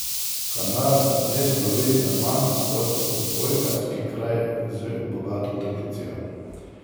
Kanal ne slovi zaman kot odbojkarski kraj z bogato tradicijo.